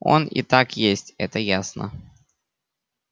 он и так есть это ясно